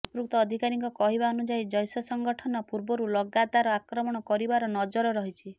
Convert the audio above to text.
ସମ୍ପୃକ୍ତ ଅଧିକାରୀଙ୍କ କହିବା ଅନୁଯାୟୀ ଜୈଶ ସଂଗଠନ ପୂର୍ବରୁ ଲଗାତର ଆକ୍ରମଣ କରିବାର ନଜର ରହିଛି